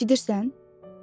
Eşidirsən?